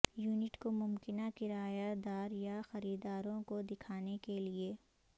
unit کو ممکنہ کرایہ دار یا خریداروں کو دکھانے کے لئے